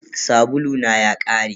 Sabulu na ya ƙare.